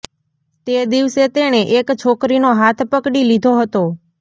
તે દિવસે તેણે એક છોકરીનો હાથ પકડી લીધો હતો